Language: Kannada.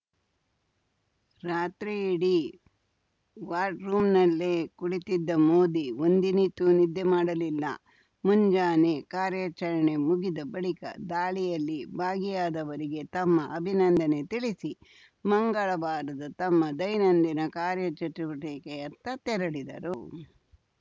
ರಾತ್ರಿಯಿಡೀ ವಾರ್‌ ರೂಮ್‌ನಲ್ಲೇ ಕುಳಿತ್ತಿದ್ದ ಮೋದಿ ಒಂದಿನಿತೂ ನಿದ್ದೆ ಮಾಡಲಿಲ್ಲ ಮುಂಜಾನೆ ಕಾರ್ಯಾಚರಣೆ ಮುಗಿದ ಬಳಿಕ ದಾಳಿಯಲ್ಲಿ ಭಾಗಿಯಾದವರಿಗೆ ತಮ್ಮ ಅಭಿನಂದನೆ ತಿಳಿಸಿ ಮಂಗಳವಾರದ ತಮ್ಮ ದೈನಂದಿನ ಕಾರ್ಯಚಟುವಟಿಕೆಯತ್ತ ತೆರಳಿದರು